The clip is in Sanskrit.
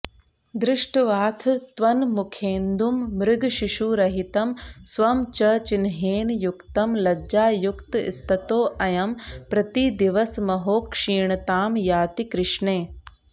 दृष्ट्वाथ त्वन्मुखेन्दुं मृगशिशुरहितं स्वं च चिह्नेन युक्तं लज्जायुक्तस्ततोऽयं प्रतिदिवसमहो क्षीणतां याति कृष्णे